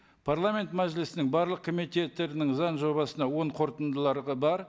парламент мәжілісінің барлық комитеттерінің заң жобасына оң қорытындылары бар